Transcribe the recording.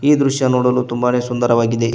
ಈ ದೃಶ್ಯ ನೋಡಲು ತುಂಬಾನೇ ಸುಂದರವಾಗಿದೆ.